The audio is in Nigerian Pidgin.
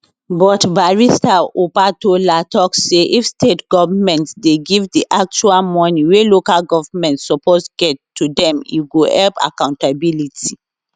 but barrister opatola tok say if state goments dey give di actual moni wey local goments suppose get to dem e go help accountability